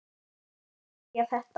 Þannig skildi ég þetta.